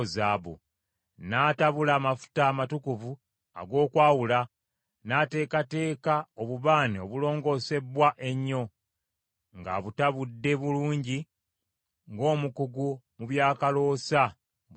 N’atabula amafuta amatukuvu ag’okwawula, n’ateekateeka obubaane obulongosebbwa ennyo, ng’abutabudde bulungi ng’omukugu mu byakaloosa bwe yandikoze.